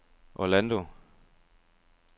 Orlando